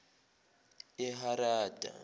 eharada